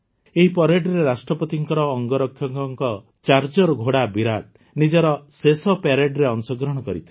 ଏହି ପରେଡରେ ରାଷ୍ଟ୍ରପତିଙ୍କ ଅଙ୍ଗରକ୍ଷକଙ୍କ ଚାର୍ଜର୍ ଘୋଡ଼ା ବିରାଟ ନିଜର ଶେଷ ପରେଡରେ ଅଂଶଗ୍ରହଣ କରିଥିଲା